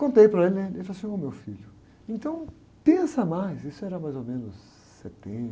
Contei para ele, né? E ele falou assim, ô, meu filho, então, pensa mais, isso era mais ou menos setembro,